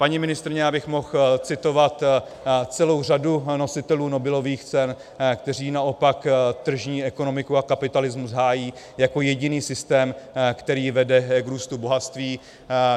Paní ministryně, já bych mohl citovat celou řadu nositelů Nobelových cen, kteří naopak tržní ekonomiku a kapitalismus hájí jako jediný systém, který vede k růstu bohatství.